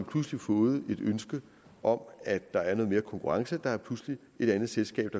pludselig fået et ønske om at der er noget mere konkurrence der er pludselig et andet selskab